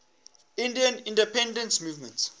indian independence movement